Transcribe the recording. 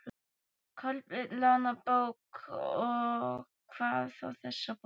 Kolbeinn lánar bók, og hvað þá þessa bók.